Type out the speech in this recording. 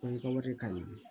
ka wari ka ɲi